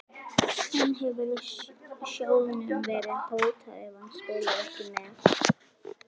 En hefur sjóðnum verið hótað ef hann spilar ekki með?